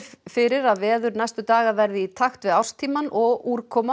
fyrir að veður næstu daga verði meira í takt við árstímann og úrkoma